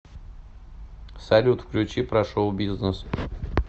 салют включи про шоу бизнес